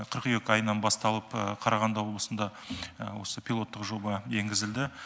қыркүйек айынан басталып қарағанды облысында осы пилоттық жоба енгізілді